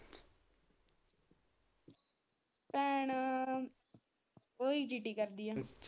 ਭੈਣ ਉਹ ETT ਕਰਦੀ ਆ।